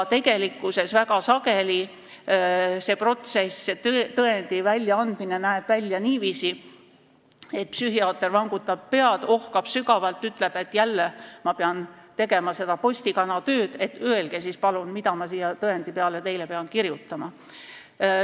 Tegelikkuses näeb väga sageli see protsess, see tõendi väljaandmine, välja niiviisi, et psühhiaater vangutab pead, ohkab sügavalt ja ütleb, et jälle ma pean tegema seda postikana tööd, öelge siis palun, mida ma siia tõendi peale pean kirjutama.